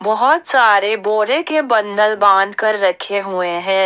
बहुत सारे बोरे के बंदल बाध कर रखे हुए हैं।